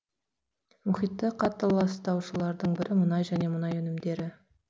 мұхитты қатты ластаушылардың бірі мұнай және мұнай өнімдері